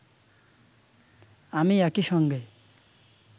আমি একই সঙ্গে